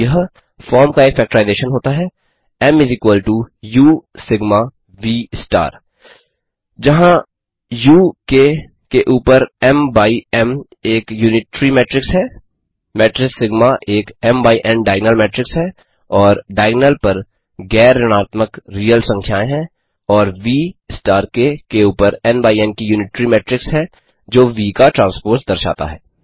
तो यहाँ फॉर्म का एक फेक्टराइजेशन होता है M U sigma V star जहाँ उ क के ऊपर M M by M M एक यूनिट्री मेट्रिक्स है मेट्रिस सिग्मा एक डायगनल मेट्रिक्स है और डायगनल पर गैर ऋणात्मक रीअल संख्याएँ हैं और V क के ऊपर की यूनिट्री मेट्रिक्स है जो व व का ट्रांस्पोज़ दर्शाता है